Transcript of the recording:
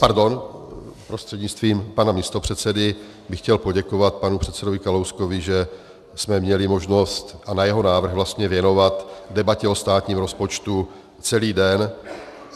Pardon... prostřednictvím pana místopředsedy bych chtěl poděkovat panu předsedovi Kalouskovi, že jsme měli možnost a na jeho návrh vlastně věnovat debatě o státním rozpočtu celý den.